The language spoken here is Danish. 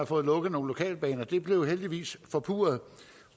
fået lukket nogle lokalbaner det blev heldigvis forpurret